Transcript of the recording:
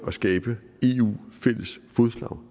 at skabe fælles fodslag